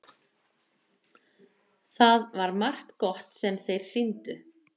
Það var margt gott sem þeir sýndu.